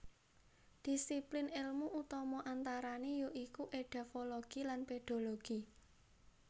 Dhisiplin èlmu utama antarané ya iku édafologi lan pédologi